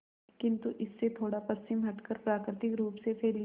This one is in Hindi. किंतु इससे थोड़ा पश्चिम हटकर प्राकृतिक रूप से फैली